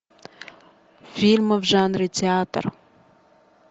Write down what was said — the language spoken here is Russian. фильмы в жанре театр